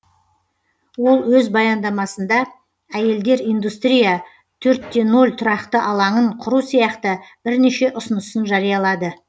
ол өз баяндамасында әйелдер индустрия төртте ноль тұрақты алаңын құру сияқты бірнеше ұсынысын жариялады